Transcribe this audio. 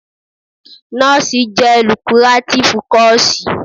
Nọ́ọ̀sì jẹ́ lukurátífú kọọ̀sì.